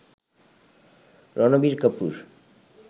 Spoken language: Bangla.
রনবীর কাপুর